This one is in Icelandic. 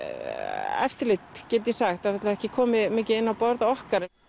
eftirlit get ég sagt það hefur ekki komið mikið inn á borð okkar